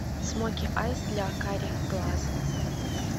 смоки айс для карих глаз